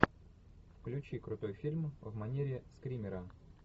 включи крутой фильм в манере скримера